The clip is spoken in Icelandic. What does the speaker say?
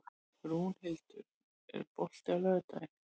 Rúnhildur, er bolti á laugardaginn?